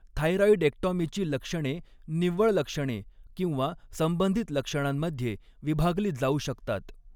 थायरॉइडेक्टॉमीची लक्षणे निव्वळ लक्षणे किंवा संबंधित लक्षणांमध्ये विभागली जाऊ शकतात.